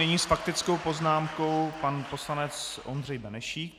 Nyní s faktickou poznámkou pan poslanec Ondřej Benešík.